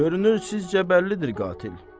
Görünür sizcə bəllidir qatil.